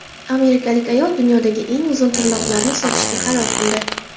Amerikalik ayol dunyodagi eng uzun tirnoqlarini sotishga qaror qildi.